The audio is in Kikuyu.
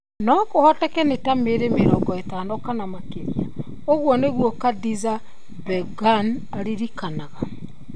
No kũhoteke nĩ ta mĩĩrĩ mĩrongo ĩtano kana makĩria", ũguo nĩguo Khadiza Begum aririkanaga.